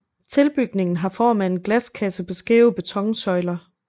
Tilbygningen har form af en glaskasse på skæve betonsøjler